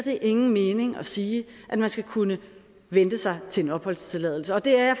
ingen mening at sige at man skal kunne vente sig til en opholdstilladelse og det er